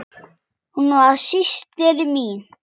Hún var systir mín.